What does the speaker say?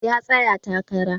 Ya tsaya takara